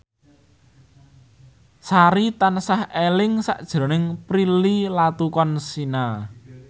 Sari tansah eling sakjroning Prilly Latuconsina